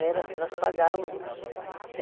Era, nós pagávamos.